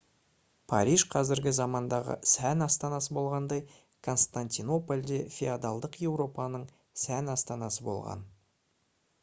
париж қазіргі замандағы сән астанасы болғандай константинополь де феодалдық еуропаның сән астанасы болған